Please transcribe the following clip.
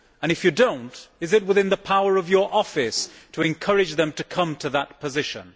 If you do not, is it within the power of your office to encourage them to come to that position?